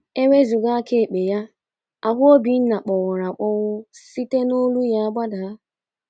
E wezụga aka ekpe ya, ahụ Obinna kpọnwụrụ akpọnwụ site n’olu ya gbadaa.